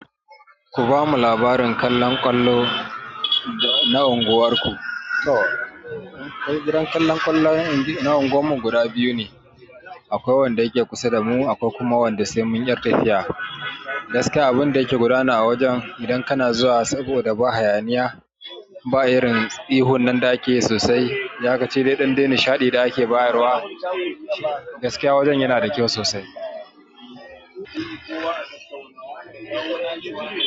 Ku ba mu labarin kallan ƙwallo na unguwar ku. To, akwai gidan kallon kwallo na unguwar mu guda biyu ne, akwai wanda yake kusa da mu akwai kuma wanda sai mun yi tafiya. Gaskiya abin da yake gudana a wajen idan kana zuwa saboda ba hayaniya, ba irin ihu nan da ake sosai, iyakaci dai ɗan dai nishaɗi da ake bayarwa, gaskiya wajen yana da kyau sosai.